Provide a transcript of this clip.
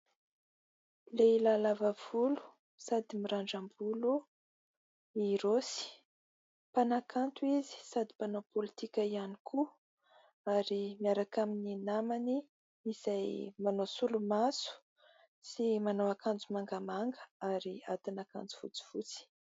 Lehilahy lava volo sady mirandram-bolo i Rossy. Mpanakanto izy sady mpanao pôlitika ihany koa ary miaraka amin'ny namany izay manao solomaso sy manao akanjo mangamanga ary atin'akanjo fotsifotsy.